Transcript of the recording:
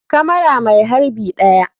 Kamara mai harbi 1.